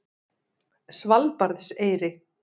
Svalbarðseyri